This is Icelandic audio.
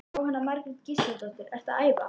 Jóhanna Margrét Gísladóttir: Ertu að æfa?